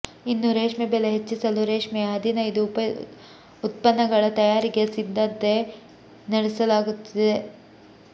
ಇನ್ನು ರೇಷ್ಮೆ ಬೆಲೆ ಹೆಚ್ಚಿಸಲು ರೇಷ್ಮೆಯ ಹದಿನೈದು ಉಪ ಉತ್ಪನ್ನಗಳ ತಯಾರಿಗೆ ಸಿದ್ದಂತೆ ನಡೆಸಲಾಗುತ್ತಿದೆ